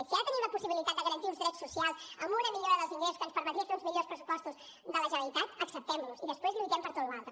i si ara tenim la possibilitat de garantir uns drets socials amb una millora dels ingressos que ens permetria fer uns millors pressupostos de la generalitat acceptem los i després lluitem per tota la resta